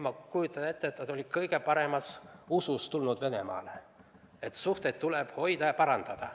Ma kujutan ette, et ta läks Venemaale kõige paremas usus, et suhteid tuleb hoida ja parandada.